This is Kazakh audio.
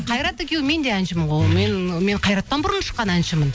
қайрат мен де әншімін ғой мен қайраттан бұрын шыққан әншімін